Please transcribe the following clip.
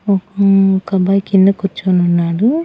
ఓహ్ ఒక అబ్బాయి కింద కూర్చుని ఉన్నాడు.